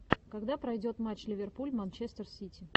когда пройдет матч ливерпуль манчестер сити